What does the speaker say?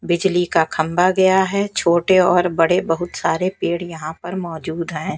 बिजली का खंबा गया है छोटे और बड़े बहुत सारे पेड़ यहां पर मौजूद हैं।